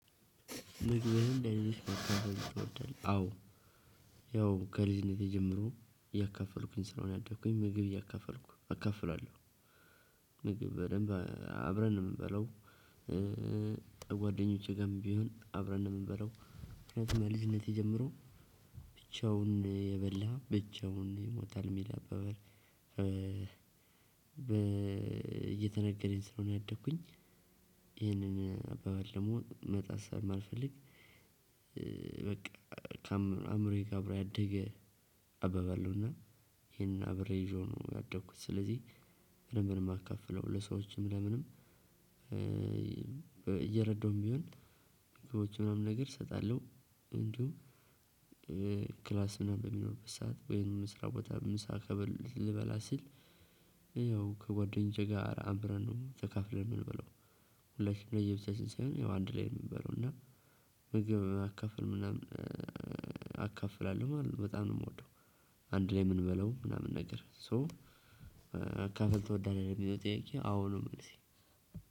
ምግብህን ለልጆች ማካፈል ትወዳለህ? አዎ። ያው ከልጅነቴ ጀምሮ እያካፈልኩኝ ስለሆነ ያደግኩኝ ምግብ እያካፈልኩ አካፍላለሁ። ምግብ በደንብ አብረን ነው የምንበላው። ጓደኞቼ ጋርም ቢሆን አብረን ነው የምንበላው። ምክንያቱም ከልጅነቴ ጀመሮ ብቻውን የበላ ብቻውን ይሞታል የሚል አባባል። እየተነገረኝ ስለሆነ ያደኩኝ። ይህንን አባባል ደግሞ መጣስ ስለማልፈልግ። በቃ። ከአዕምሮዬ ጋር አብሮ ያደገ አባባል ነውና። ይሄን አብሬ ይዤው ነው ያደኩት። ስለዚህ። በደንብ ነው የማካፍለው። ለሰዎች እንደምንም እየረዳውም ቢሆን ከውጭ የሆነውን ነገር እሰጣለሁ። እንዲሁም። ክላስም በነበርንበት ሰዓት ወይም ስራ ቦታ ምሳ። ልበላ ስል ያው ከጓደኞቼ ጋር አብረን ነው ተካፍለን የምንበላው። ለየብቻችን ሳይሆን ያው አንድ ላይ ነው የምንበላው። እና። ምግብ በማካፈል ምናምን አካፍላለሁ ማለት ነው። በጣም ነው የምወደው። አንድ ላይ የምንበላው ምናምን ነገር ሶ። ማካፈል ትወዳለህ? የሚለው ጥያቄ አዎ ነው መልሴ።